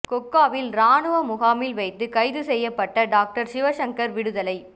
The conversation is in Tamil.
கொக்காவில் இராணுவ முகாமில் வைத்து கைது செய்யப்பட்ட டொக்டர் சிவசங்கர் விடுதலை